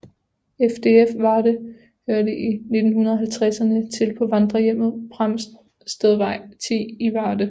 FDF Varde hørte i 1950erne til på Vandrerhjemmet Pramstedvej 10 i Varde